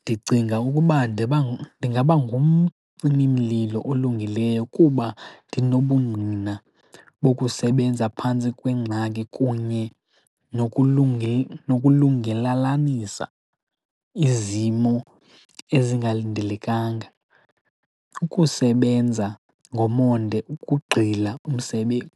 Ndicinga ukuba ndingaba ngumcimimlilo olungileyo kuba ndinobungqina bokusebenza phantsi kwengxaki kunye nokulungelalanisa izimo ezingalindelekanga, ukusebenza ngomonde, ukugxila